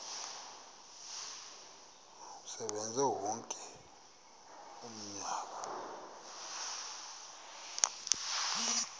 asebenze wonke umnyaka